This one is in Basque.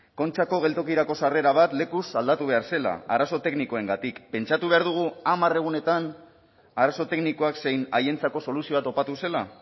kontxako geltokirako sarrera bat lekuz aldatu behar zela arazo teknikoengatik pentsatu behar dugu hamar egunetan arazo teknikoak zein haientzako soluzioa topatu zela